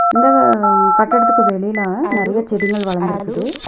இந்த அ கட்டடத்துக்கு வெளியில நறைய செடிங்கள் வளந்து இருக்குது.